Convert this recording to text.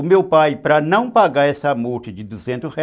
O meu pai, para não pagar essa multa de duzentos ré